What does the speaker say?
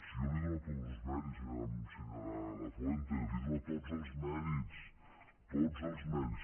si jo li dono tots els mèrits senyora lafuente li dono tots els mèrits tots els mèrits